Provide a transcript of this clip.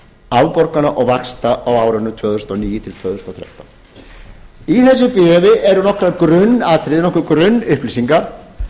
afborgana og vaxta á árunum tvö þúsund og níu tvö þúsund og þrettán í þessu bréfi eru nokkur grunnatriði nokkrar grunnupplýsingar